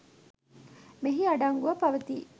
මෙහි අඩංගුව පවතී.